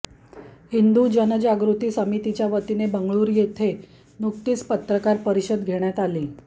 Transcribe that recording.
हिंदु जनजागृती समितीच्या वतीने बेंगळुरू येथे नुकतीच पत्रकार परिषद घेण्यात आली